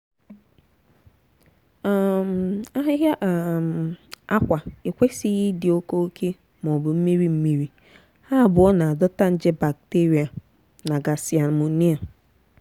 um ahịhịa um akwa ekwesịghị ịdị oke oke ma ọ bụ mmiri mmiri; ha abụọ na-adọta nje bakteria na gasi amonia. um